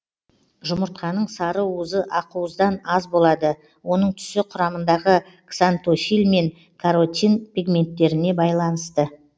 жұмыртқаның сарыуызы ақуыздан аз болады оның түсі құрамындағы ксантофиль мен каротин пигменттеріне байланысты